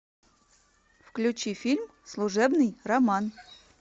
включи фильм служебный роман